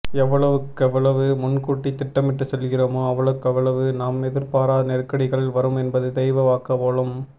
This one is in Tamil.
எவ்வளவுக்கெவ்வளவு முன்கூட்டி திட்டமிட்டு செல்கிறோமோ அவ்வளவுக்கவ்வளவு நாம் எதிர் பாரா நெருக்கடிகள் வரும் என்பது தெய்வ வாக்கு போலும்